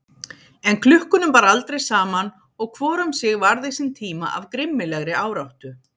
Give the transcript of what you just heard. En klukkunum bar aldrei saman og hvor um sig varði sinn tíma af grimmilegri áráttu.